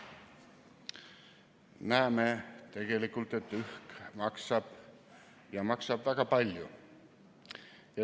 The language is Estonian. " Me näeme tegelikult, et õhk maksab ja maksab väga palju.